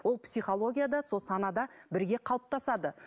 ол психологияда сол санада бірге қалыптасады